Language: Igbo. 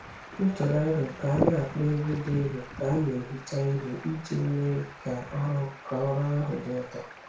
M tụrụ aro ka a na-akpọ egwú dị nro ka a na-ehicha ihe iji mee ka ọrụ ka ọrụ ahụ dị ụtọ.